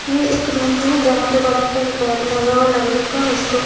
ये एक रूम है यहां पे बड़ा सा लगा हुआ लकड़ी का और इस को--